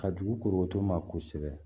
Ka dugu korobɔtɔ ma kosɛbɛ